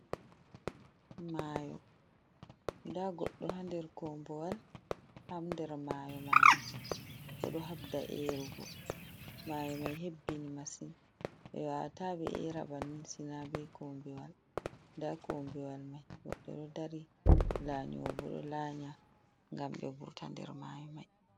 Mayo: Nda goɗɗo ha nder kombuwal ha nder mayo majum. Ɓeɗo habda erugo mayo mai hebbini masin ɓe wawata ɓe era banni sina be kombuwal. Nda kombuwal mai goɗɗo ɗo dari, lanyuwo bo ɗo lanya ngam ɓe vurta nder mayo mai.